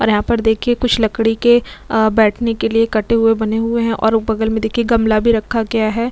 और यहाँ पर देखिए कुछ लकड़ी के अ बैठने के लिए कटे हुए बने हुए है और ओ बगल में देखिए गमला भी रखा गया है।